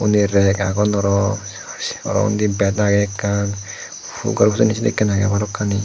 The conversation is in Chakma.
undi reg agon aro aro se undi bed agey ekkan gor pujonney sennekkey agey balokkani.